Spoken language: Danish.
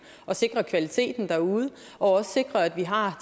og sikre kvaliteten derude og også sikre at vi har